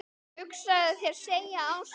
Hugsaðu þér segir Ása.